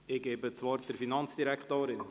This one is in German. Ich gebe das Wort der Finanzdirektorin.